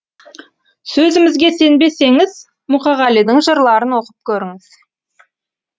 сөзімізге сенбесеңіз мұқағалидың жырларын оқып көріңіз